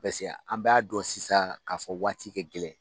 Pɛseka an b'a dɔn sisan k'a fɔ waati kɛ gɛlɛn.